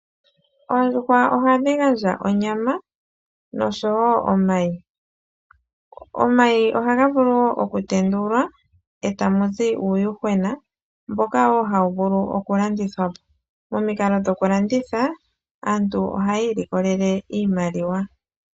Oondjuhwa ohadhi gandja onyama noshowo omayi, omayi oha ga vulu wo oku tendulwa e ta muzi uuyuhwena mboka wo ha wu vulu oku landithwa po. Momikalo dhoku landitha, aantu oha ya ilikolele iimaliwa.